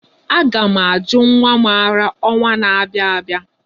Aga ' m ajụ nwa m ara ọnwa na-abịa abịa.